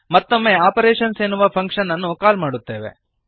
ಮತ್ತೊಮ್ಮೆ ಆಪರೇಶನ್ಸ್ ಎನ್ನುವ ಫಂಕ್ಶನ್ ಅನ್ನು ಕಾಲ್ ಮಾಡುತ್ತೇವೆ